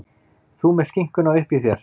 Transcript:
Þú með skinkuna uppí þér.